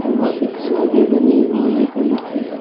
वा पे फूले भी बनी हुई है पेंट की।